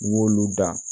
Y'olu dan